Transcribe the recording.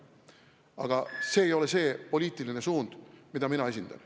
Aga see ei ole poliitiline suund, mida mina esindan.